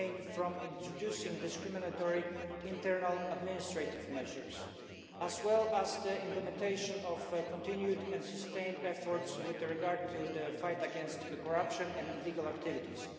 from introducing discriminatory internal administrative measures, as well as the implementation of continued and sustained efforts with regard to the fight against corruption and illegal activities.